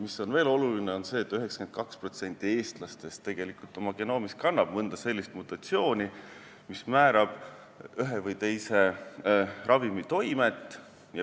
Veel on oluline see, et 92% eestlastest kannab oma genoomis mõnda sellist mutatsiooni, mis määrab ühe või teise ravimi toimet.